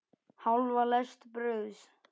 Hálfa lest brauðs.